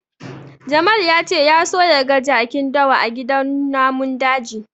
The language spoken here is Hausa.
Jamal ya ce ya so ya ga jakin dawa a gidan namun daji.